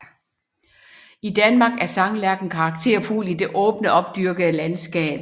I Danmark er sanglærken karakterfugl i det åbne opdyrkede landskab